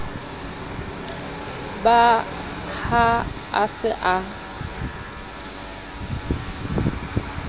ba ha a se a